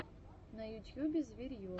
на ютьюбе зверье